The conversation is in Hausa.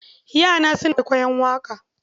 Yana suna kwaikwaiyon waƙa.